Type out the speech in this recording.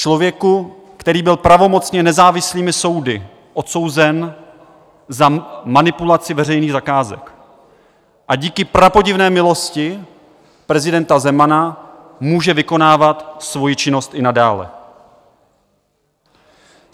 Člověku, který byl pravomocně nezávislými soudy odsouzen za manipulaci veřejných zakázek a díky prapodivné milosti prezidenta Zemana může vykonávat svoji činnost i nadále.